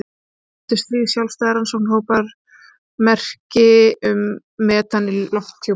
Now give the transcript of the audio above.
Nýlega fundu þrír sjálfstæðir rannsóknarhópar merki um metan í lofthjúpi Mars.